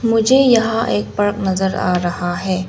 मुझे यहां एक पार्क नजर आ रहा है।